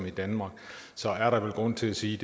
i danmark er der vel grund til at sige